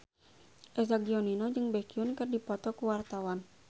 Eza Gionino jeung Baekhyun keur dipoto ku wartawan